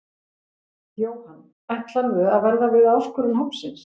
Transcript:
Jóhann: Ætlarðu að verða við áskorun hópsins?